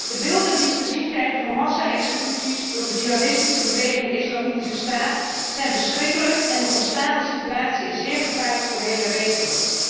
De beelden die wij te zien krijgen van massaexecuties door de Jihadistische beweging Islamitische staat zijn verschrikkelijk en de ontstane situatie is zeer gevaarlijk voor de hele regio.